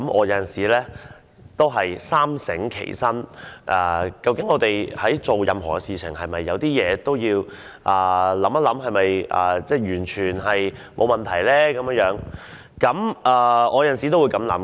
有時候我也會三省吾身，我們做任何事情時，都要想一想，這樣的做法是否沒有問題呢？